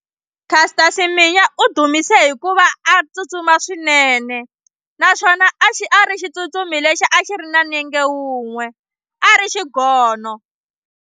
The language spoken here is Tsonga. Caster Semenya u dumise hikuva a tsutsuma swinene naswona a xi a ri xitsutsumi lexi a xi ri na nenge wun'we a ri xigono.